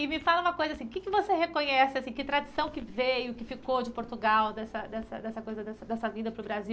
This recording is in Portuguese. E me fala uma coisa, assim o que que você reconhece, assim que tradição que veio, que ficou de Portugal, dessa dessa dessa coisa dessa vinda para o Brasil?